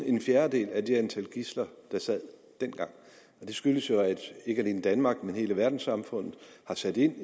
en fjerdedel af det antal gidsler der sad dengang det skyldes jo at ikke alene danmark men hele verdenssamfundet har sat ind